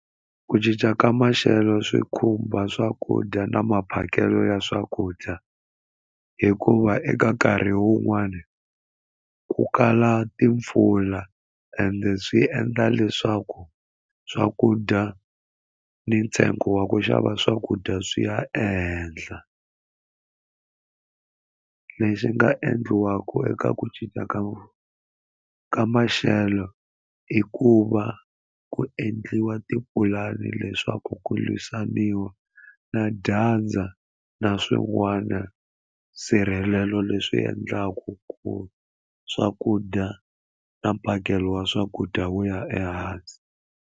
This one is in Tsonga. Ku cinca ka maxelo swi khumba swakudya na maphakelo ya swakudya hikuva eka nkarhi wun'wani ku kala timpfula ende swi endla leswaku swakudya ni ntsengo wa ku xava swakudya swi ya ehenhla lexi nga endliwaka eka ku cinca ka ka maxelo i ku va ku endliwa tipulani leswaku ku lwisaniwa na dyandza na swin'wana nsirhelelo leswi endlaku ku swakudya na mphakelo wa swakudya wu ya ehansi.